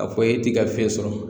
A fɔ e t'i ka fiɲɛ sɔrɔ.